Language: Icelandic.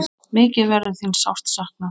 Mikið verður þín sárt saknað.